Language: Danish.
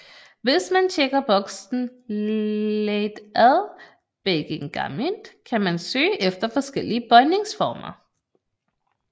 Hvis man tjekker boksen Leit að beygingarmynd kan man søge efter forskellige bøjningsformer